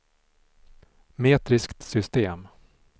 metriskt system